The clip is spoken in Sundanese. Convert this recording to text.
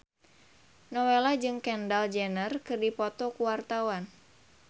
Nowela jeung Kendall Jenner keur dipoto ku wartawan